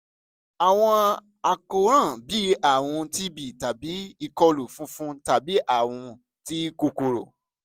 awọn àkóràn bii arun tb tabi ikolu funfun tabi arun ti kokoro